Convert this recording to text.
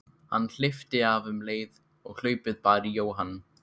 Hann hleypti af um leið og hlaupið bar í Jóhann.